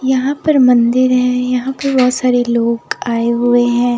यहां पर मंदिर है यहां पे बहोत सारे लोग आए हुए हैं।